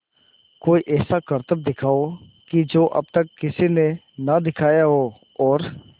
कोई ऐसा करतब दिखाओ कि जो अब तक किसी ने ना दिखाया हो और